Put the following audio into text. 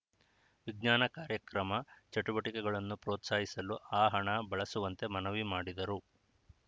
ವಿಜ್ಞಾನ ಕಾರ್ಯಕ್ರಮ ಚಟುವಟಿಕೆಗಳನ್ನು ಪ್ರೋತ್ಸಾಹಿಸಲು ಆ ಹಣ ಬಳಸುವಂತೆ ಮನವಿ ಮಾಡಿದರು